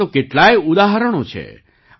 આવા તો કેટલાય ઉદાહરણો છે